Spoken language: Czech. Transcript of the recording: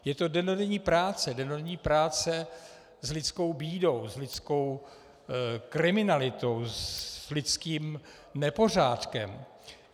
Je to dennodenní práce, dennodenní práce s lidskou bídou, s lidskou kriminalitou, s lidským nepořádkem.